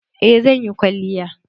Eh zan yi kwalliya.